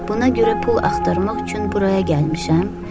Buna görə pul axtarmaq üçün buraya gəlmişəm.